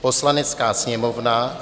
Poslanecká sněmovna